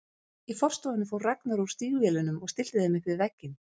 Í forstofunni fór Ragnar úr stígvélunum og stillti þeim upp við vegginn.